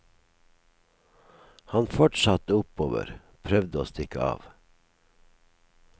Han fortsatte oppover, prøvde å stikke av.